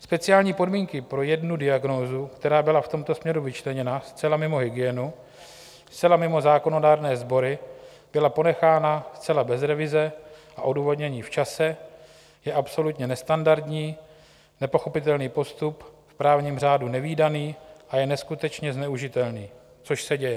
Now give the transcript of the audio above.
Speciální podmínky pro jednu diagnózu, která byla v tomto směru vyčleněna zcela mimo hygienu, zcela mimo zákonodárné sbory, byla ponechána zcela bez revize a odůvodnění v čase, je absolutně nestandardní, nepochopitelný postup, v právním řádu nevídaný, a je neskutečně zneužitelný - což se děje.